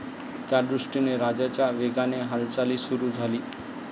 त्यादृष्टीने राजाच्या वेगाने हालचाली सुरु झाली.